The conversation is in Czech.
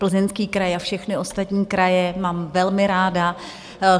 Plzeňský kraj a všechny ostatní kraje mám velmi ráda.